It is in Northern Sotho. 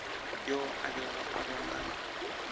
yo a bego a bonala